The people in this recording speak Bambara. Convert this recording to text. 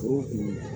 O